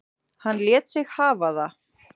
Hann lét sig hafa það.